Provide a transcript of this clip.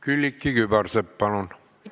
Külliki Kübarsepp, palun!